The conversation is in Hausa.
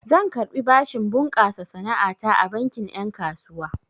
Zan karɓi bashin bunƙasa sana'a ta a bankin ƴen kasuwa.